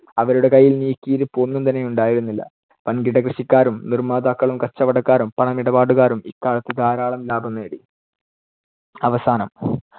അവരുടെ കൈയ്യിൽ നീക്കിയിരുപ്പ് ഒന്നും തന്നെയുണ്ടായിരുന്നില്ല. വൻ‌കിട കൃഷിക്കാരും, നിർമ്മാതാക്കളും, കച്ചവടക്കാരും, പണമിടപാടുകാരും ഇക്കാലത്ത് ധാരാളം ലാഭം നേടി. അവസാനം.